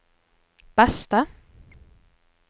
beste